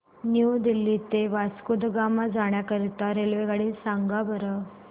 new Delhi ते वास्को द गामा जाण्या करीता रेल्वेगाडी सांगा बरं